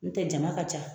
N'o tɛ jama ka ca